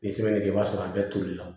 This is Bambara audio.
Ni sɛbɛn de don i b'a sɔrɔ a bɛɛ tolila